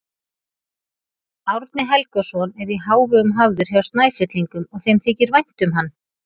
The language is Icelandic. Árni Helgason er í hávegum hafður hjá Snæfellingum og þeim þykir vænt um hann.